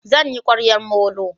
Zan yi ƙwaryan molo